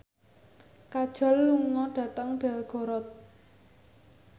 Kajol lunga dhateng Belgorod